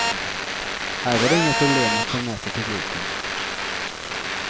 Här var det inga problem att få med sig publiken.